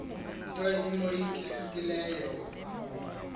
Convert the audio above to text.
nto imoyikisileyo ubuye